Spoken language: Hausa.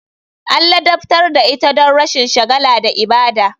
An ladabtar da ita don rashin shagala da ibada.